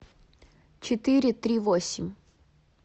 четыре три восемь